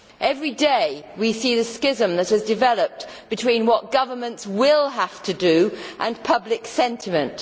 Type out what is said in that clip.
Everyday we see the schism that has developed between what governments will have to do and public sentiment.